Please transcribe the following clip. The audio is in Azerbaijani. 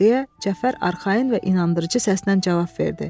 deyə Cəfər arxayın və inandırıcı səslə cavab verdi.